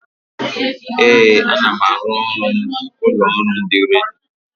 Ee, ana m arụ ọrụ n'ụlọ ọrụ ndị redio.